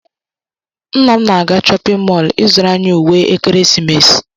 Nna m na-aga chọpịn mọọlụ ịzụrụ anyị uwe ekeresimesi.